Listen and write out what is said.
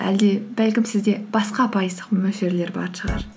әлде бәлкім сізде басқа пайыздық мөлшерлер бар шығар